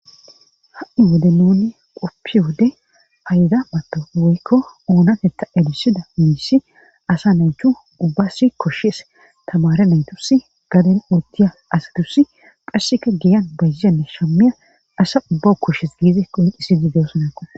ha7i wode nuni qoppi wode hayda mato woykko uunatetta elisida miisi asa nawuchu ubbas koshees tamare naytusi gaden uotdiya asadusi pharseka giyan bayzzanne shamiya asa ubba koshes giize qoincisidideossonako